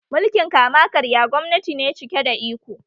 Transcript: Mulkin kama karya gwamnati ne cike da iko